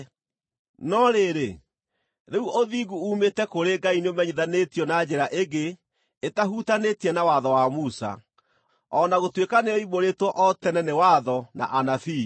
No rĩrĩ, rĩu ũthingu uumĩte kũrĩ Ngai nĩũmenyithanĩtio na njĩra ĩngĩ ĩtahutanĩtie na Watho wa Musa, o na gũtuĩka nĩyoimbũrĩtwo o tene nĩ Watho na Anabii.